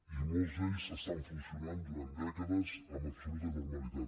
i molts d’ells estan funcionant durant dècades amb absoluta normalitat